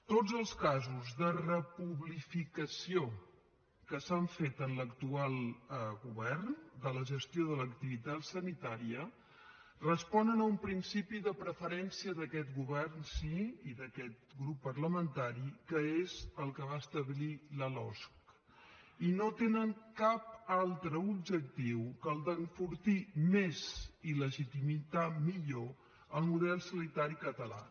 tots els casos de republificació que s’han fet en l’actual govern de la gestió de l’activitat sanitària responen a un principi de preferència d’aquest govern sí i d’aquest grup parlamentari que és el que va establir la losc i no tenen cap altre objectiu que el d’enfortir més i legitimar millor el model sanitari català